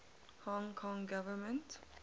hong kong government